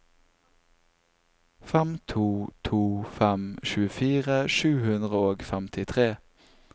fem to to fem tjuefire sju hundre og femtitre